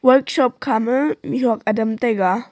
workshop khama mihhuak adam taiga.